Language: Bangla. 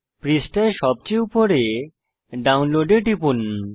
পৃষ্ঠায় সবচেয়ে উপরে ডাউনলোড এ টিপুন